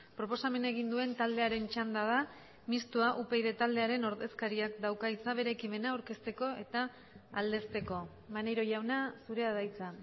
proposamena egin duen taldearen txanda da mistoa upyd taldearen ordezkariak dauka hitza bere ekimena aurkezteko eta aldezteko maneiro jauna zurea da hitza